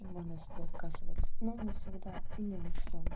и можно себе отказывать но не всегда и не во всём